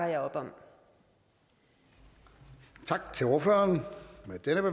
værker i og